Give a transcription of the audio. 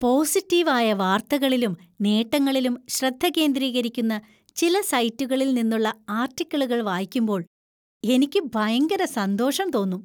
Positive ആയ വാർത്തകളിലും, നേട്ടങ്ങളിലും ശ്രദ്ധ കേന്ദ്രീകരിക്കുന്ന ചില സൈറ്റുകളിൽ നിന്നുള്ള ആർട്ടിക്കിളുകൾ വായിക്കുമ്പോൾ എനിക്ക് ഭയങ്കര സന്തോഷം തോന്നും.